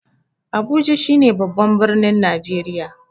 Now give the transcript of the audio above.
Abuja shi ne babban birnin Najreriya